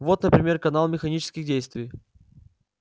вот например канал механических действий